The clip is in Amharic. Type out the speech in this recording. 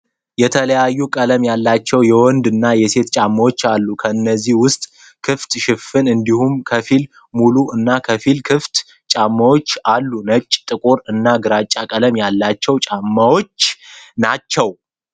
የተለያዩ ቀለም ያላቸው የወንድ እና ሴት ጫማዎች አሉ። ከነዚህ ውስጥ ክፍት፣ ሽፍን እንዲሁም ከፊል ሙሉ እና ከፊል ክፍት ጫማዎች አሉ። ነጭ፣ ጥቁር እና ግራጫ ቀለም ያላቸው ጫማዎች ናቸው።